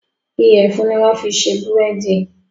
Iyẹ̀fun ni wọ́n fi ṣe búrèdì